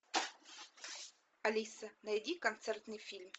алиса найди концертный фильм